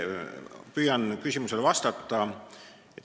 Püüan küsimusele vastata.